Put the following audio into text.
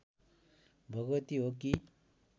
भगवती हो कि